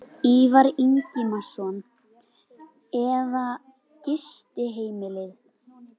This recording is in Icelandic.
Ívar Ingimarsson: Eða gistiheimilið?